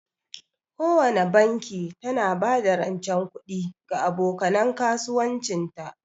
Kowana banki tana ba da rancen kuɗi ga aboka nan kasuwancin ta.